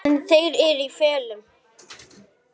En þeir eru í felum!